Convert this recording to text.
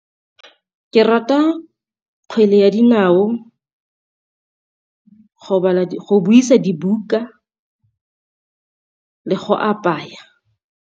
Ke rata kgwele ya dinao, go buisa dibuka le go apaya.